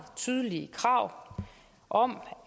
tydelige krav om